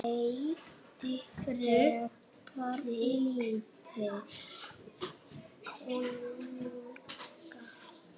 Stilltu þig kona!